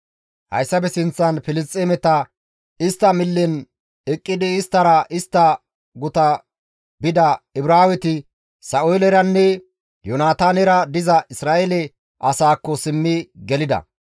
Hayssafe sinththan Filisxeemeta millen eqqidi isttara istta guta bida Ibraaweti Sa7ooleranne Yoonataanera diza Isra7eele asaakko simmi gelida.